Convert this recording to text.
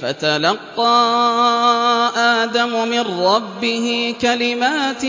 فَتَلَقَّىٰ آدَمُ مِن رَّبِّهِ كَلِمَاتٍ